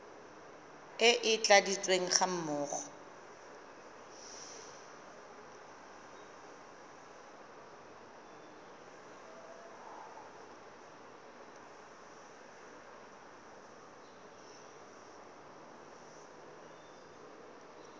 e e tladitsweng ga mmogo